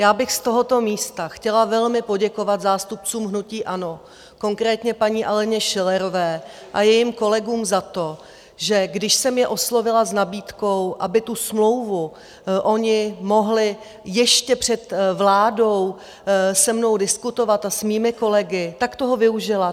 Já bych z tohoto místa chtěla velmi poděkovat zástupcům hnutí ANO, konkrétně paní Aleně Schillerové a jejím kolegům, za to, že když jsem je oslovila s nabídkou, aby tu smlouvu oni mohli ještě před vládou se mnou diskutovat a s mými kolegy, tak toho využila.